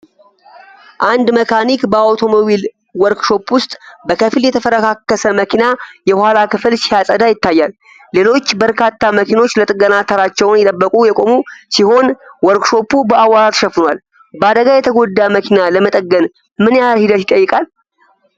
አንድ መካኒክ በአውቶሞቢል ዎርክሾፕ ውስጥ በከፊል የተፈረካከሰ መኪና የኋላ ክፍል ሲያጸዳ ይታያል። ሌሎች በርካታ መኪኖች ለጥገና ተራቸውን እየጠበቁ የቆሙ ሲሆን ዎርክሾፑ በአቧራ ተሸፍኗል። በአደጋ የተጎዳ መኪና ለመጠገን ምን ያህል ሂደት ይጠይቃል?